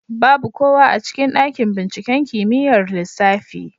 Babu kowa a cikin ɗaƙin binciƙen kimiƴar lissafi.